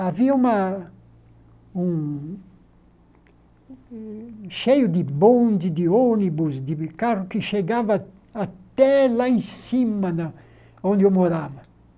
Havia uma um cheio de bonde, de ônibus, de carro que chegavam até lá em cima na onde eu morava.